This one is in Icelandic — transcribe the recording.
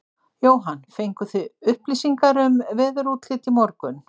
Jóhann: Fenguð þið upplýsingar um veðurútlit í morgun?